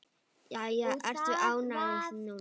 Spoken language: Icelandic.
Jæja, ertu ánægð núna?